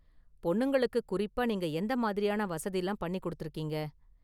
பொண்ணுங்களுக்கு குறிப்பா நீங்க எந்த மாதிரியான வசதிலாம் பண்ணி கொடுத்திருக்கீங்க.